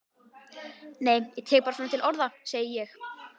Nei ég tek bara svona til orða, segi ég.